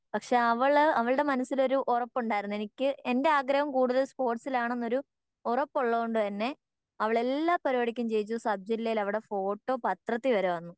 പക്ഷെ അവള് അവളുടെ മനസ്സില് ഒരു ഉറപ്പുണ്ടായിരുന്നു എനിക്ക് എൻ്റെ ആഗ്രഹം കൂടുതൽ സ്പോർട്സിൽ ആണെന്ന് ഒരു ഉറപ്പുള്ളത് കൊണ്ട് തന്നെ അവൾ എല്ലാ പരിപാടിക്കും ജയിച്ച് സബ് ജില്ലയിൽ അവളുടെ ഫോട്ടോ പത്രത്തിൽ വരെ വന്നു